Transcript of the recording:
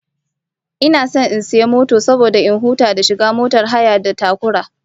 Ina son in sayi mota saboda in huta da shiga motar hayar da takura